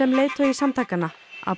leiðtogi samtakanna Abu